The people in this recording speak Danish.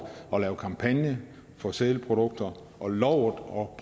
at lave en kampagne for sælprodukter og lovet